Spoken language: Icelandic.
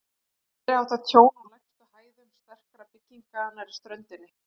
Meiriháttar tjón á lægstu hæðum sterkra bygginga nærri ströndinni.